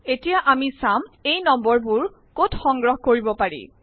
এতিয়া আমি ছাম এই নং বোৰ কত সংগ্ৰহ কৰিব পাৰি